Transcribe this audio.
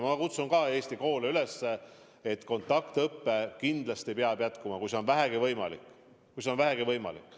Ma kutsun Eesti koole üles, et kontaktõpe kindlasti peab jätkuma, kui see on vähegi võimalik.